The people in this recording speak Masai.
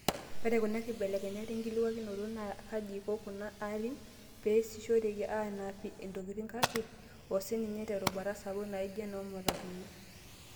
Eyau kuna kibelekenyata enkikualikinoto aa kaji eiko kuna arrin pee esishoreki aanapia ntokitin kake o sininye terubata sapuk naaijo enoo matatuni